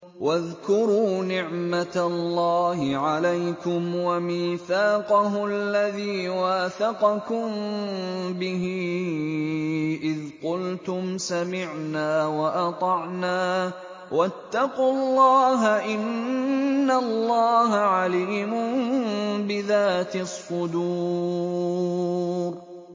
وَاذْكُرُوا نِعْمَةَ اللَّهِ عَلَيْكُمْ وَمِيثَاقَهُ الَّذِي وَاثَقَكُم بِهِ إِذْ قُلْتُمْ سَمِعْنَا وَأَطَعْنَا ۖ وَاتَّقُوا اللَّهَ ۚ إِنَّ اللَّهَ عَلِيمٌ بِذَاتِ الصُّدُورِ